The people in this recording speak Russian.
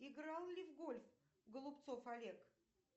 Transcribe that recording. играл ли в гольф голубцов олег